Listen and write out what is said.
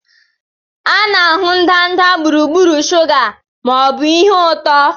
A na-ahụ ndanda gburugburu shuga ma ọ bụ ihe ụtọ